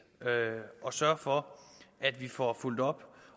at sørge for at vi får fulgt op